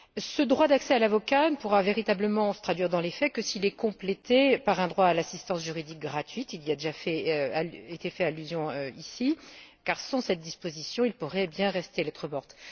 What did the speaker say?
Ce droit d'accès à l'avocat ne pourra véritablement se traduire dans les faits que s'il est complété par un droit à l'assistance juridique gratuite il y a déjà été fait allusion ici car, sans cette disposition, il pourrait bien rester lettre morte.